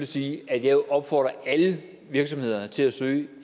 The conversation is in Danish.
sige at jeg opfordrer alle virksomheder til at søge